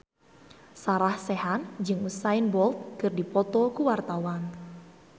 Sarah Sechan jeung Usain Bolt keur dipoto ku wartawan